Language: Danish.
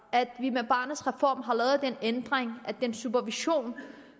at vi med barnets reform har lavet en ændring af den supervision